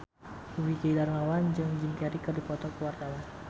Dwiki Darmawan jeung Jim Carey keur dipoto ku wartawan